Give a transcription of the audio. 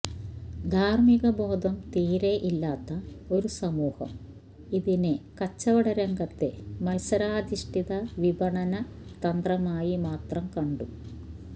ധാർമികബോധം തീരെ ഇല്ലാത്ത ഒരു സമൂഹം ഇതിനെ കച്ചവടരംഗത്തെ മത്സരാധിഷ്ഠിത വിപണതന്ത്രമായി മാത്രം കണ്ടു